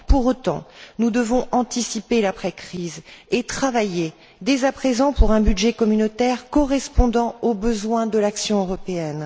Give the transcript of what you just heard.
Pour autant, nous devons anticiper l'après crise et travailler dès à présent pour un budget communautaire correspondant aux besoins de l'action européenne.